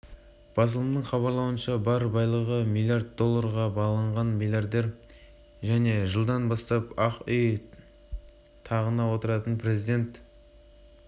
қашаған әлемдегі ірі және еліміздегі тұңғыш теңіз кен орны ол сондай-ақ рақымшылықтың қылмыстық ахуалға әсері жөнінде